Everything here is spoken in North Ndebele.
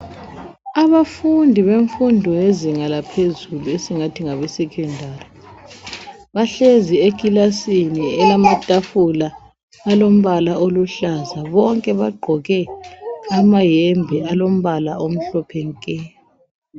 Abafundi benfundo yezinga laphezulu ,esingathi ngabe sekhendari. Bahlezi ekhilasini elamathafula alombala oluhlaza ,bonke bagqoke amahembe alombala omhlophe nke.